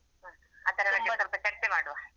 ಆತರ ಎಲ್ಲ ಚರ್ಚೆ ಮಾಡುವ.